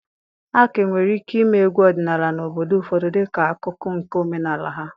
A ka nwere ike ịme egwu odinala n'obodo ụfọdụ dịka akụkụ nke omenala ha.